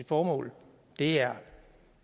formål det er